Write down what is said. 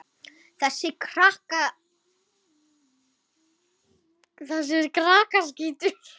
Þessir krakkar eru allir eins.